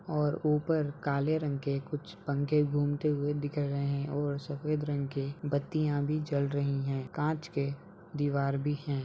और ऊपर काले रंग के कुछ पंखे घूमते हुए दिख रहें है और सफ़ेद रंग के बत्तियां भी जल रही हैं कांच के दीवार भी है।